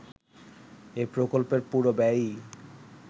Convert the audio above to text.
এ প্রকল্পের পুরো ব্যয়ই